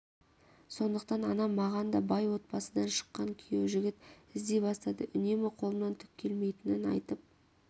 сондықтан анам маған да бай отбасыдан шыққан күйеу жігіт іздей бастады үнемі қолымнан түк келмейтінін айтып